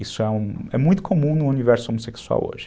Isso é muito comum no universo homossexual hoje.